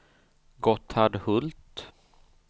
Gotthard Hult